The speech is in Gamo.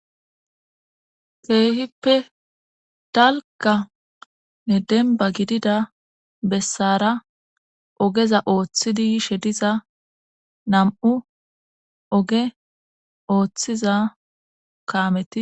Keehippe dalkanne denba gidida bessara ogeza ooththidi yishe diza nam7u oge ooththiza kaameti.